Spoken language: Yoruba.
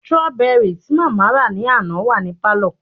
strawberry tí mama ra ni àná wa ni palo